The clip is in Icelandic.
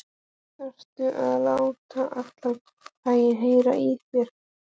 ÞARFTU AÐ LÁTA ALLAN BÆINN HEYRA Í ÞÉR!